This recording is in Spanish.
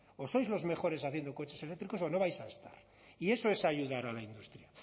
o sois los mejores haciendo coches eléctricos o no vais a estar y eso es ayudar a la industria